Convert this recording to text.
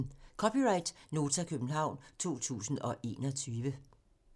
(c) Nota, København 2021